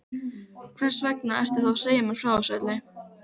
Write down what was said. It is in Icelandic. Hversvegna ertu þá að segja mér frá öllu þessu?